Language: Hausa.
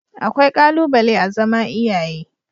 Akwai ƙalubale a zama iyaye